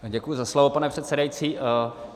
Děkuji za slovo, pane předsedající.